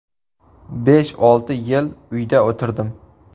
Besh-olti yil uyda o‘tirdim.